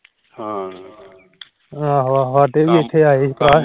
ਆਹੋ ਆਹੋ ਸਾਡੇ ਵੀ ਇਥੇ ਆਏ ਸੀ